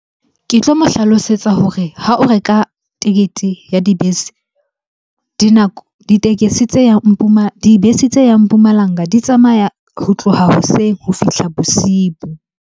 Ke tlo mo hlalosetsa hore ha o reka tekete ya dibese. Dinako, ditekesi tse yang dibese tse yang Mpumalanga di tsamaya ho tloha hoseng ho fihla bosibu.